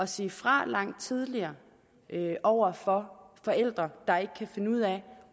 sige fra langt tidligere over for forældre der ikke kan finde ud af